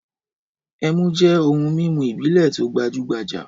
Ẹmu jẹ́ ohun-mímu ìbílẹ̀ tó gbajú-gbajà.